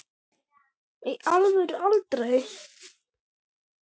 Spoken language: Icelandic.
í alvöru aldrei